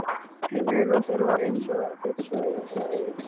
Heimili Rósars var eins og biðstofa hjá augnlækni.